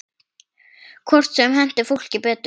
Hvort sem henti fólki betur.